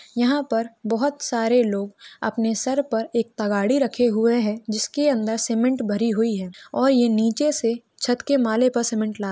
यहां पर बहोत सारे लोग अपने सर पर एक तघाड़ी रखे हुए है जिसके अंदर सीमेंट भरी हुई है और यह नीचे से छत के माले पर सीमेंट--